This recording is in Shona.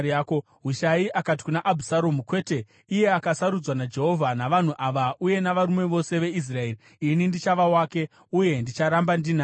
Hushai akati kuna Abhusaromu, “Kwete, iye akasarudzwa naJehovha, navanhu ava uye navarume vose veIsraeri, ini ndichava wake, uye ndicharamba ndinaye.